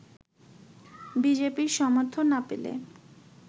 B জে পি-র সমর্থন না পেলে